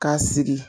K'a sigi